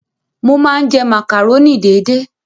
Mo máa ń jẹ màkàrónì déédé.